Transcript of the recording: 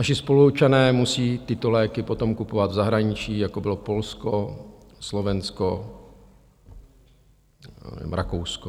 Naši spoluobčané musí tyto léky potom kupovat v zahraničí, jako bylo Polsko, Slovensko, Rakousko.